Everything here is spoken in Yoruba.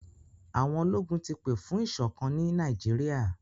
Àwọn ológun ti pè fún ìṣọ̀kán ni Nàìjíríà.